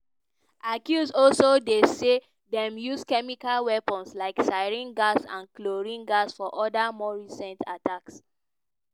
accuse also dey say dem use chemical weapons like sarin gas and chlorine gas for oda more recent attacks.